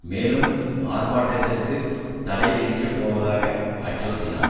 மேலும் ஆர்ப்பாட்டத்திற்கு தடை விதிக்க போவதாக அச்சுறுத்தினார்